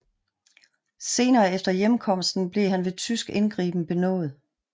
Senere efter hjemkomsten blev han ved tysk indgriben benådet